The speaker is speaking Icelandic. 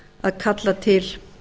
að kalla til